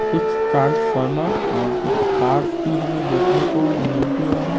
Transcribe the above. कुछ ट्रांसफॉर्मर और कुछ कार्ड्स भी हमें देखने को मिलती हैं।